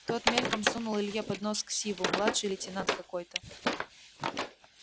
тот мельком сунул илье под нос ксиву младший лейтенант какой-то